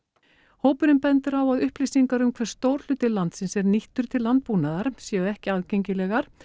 hópurinn bendir á að upplýsingar um hve stór hluti landsins er nýttur til landbúnaðar séu ekki aðgengilegar